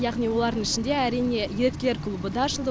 яғни олардың ішінде әрине еріктілер клубы да ашылды